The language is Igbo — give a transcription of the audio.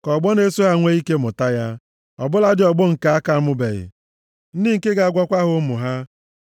ka ọgbọ na-eso ha nwee ike mụta ya, ọ bụladị ọgbọ nke a ka amụbeghị, ndị nke ga-agwakwa ha ụmụ ha.